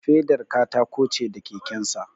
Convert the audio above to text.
Fedar katako ce da kekensa